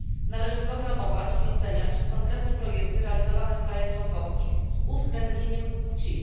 Należy programować i oceniać konkretne projekty realizowane w państwach członkowskich z uwzględnieniem płci.